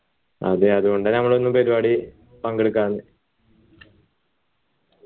അതെ അതുകൊണ്ട നമ്മൾ ഒന്നും പരിപാടി പങ്കെടുക്കാഞ്ഞേ